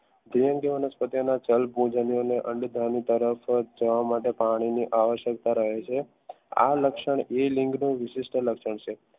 તરફ જવા માટે પાણીની આવશ્યકતા રહે છે આ લક્ષણ એ વિશિષ્ટ લક્ષણ છે